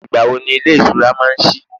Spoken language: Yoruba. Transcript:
igbawo ni ilé ìṣura ma n sí